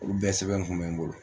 Olu bɛɛ sɛbɛn kun bɛ n bolo